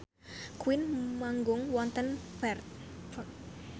Queen manggung wonten Perth